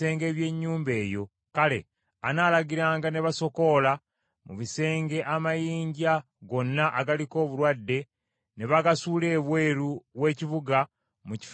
kale, anaalagiranga ne basokoola mu bisenge amayinja gonna agaliko obulwadde ne bagasuula ebweru w’ekibuga mu kifo ekitali kirongoofu.